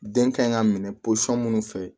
Den ka ɲi ka minɛ minnu fɛ